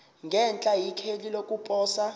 ngenhla ikheli lokuposa